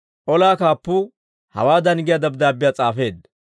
Olaa kaappuu hawaadan giyaa dabddaabbiyaa s'aafeedda.